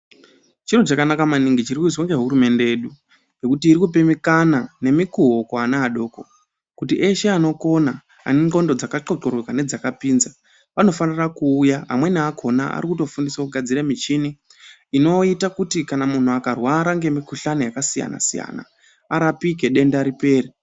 Chiro chakanaka maningi chiri kuizwa ngehurumende yedu ngekuti irikupe mikana nemikuwo kuana adoko kuti eshe anokona anenxlondo dzakathlothloroka ndzakapinza vanofanira kuuya amweni akona arikutofundiswe kugadzire michini inoita kuti kana munhu akarwara ngemikhuhlani yakasiyanasiyana arapike denda ripere.